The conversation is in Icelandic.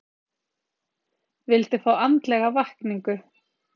Vildi fá andlega vakningu